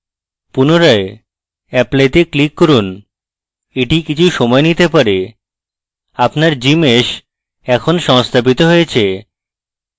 পুনরায় apply তে click করুন এটি কিছু সময় নিতে পারে আপনার gmsh এখন সংস্থাপিত হয়েছে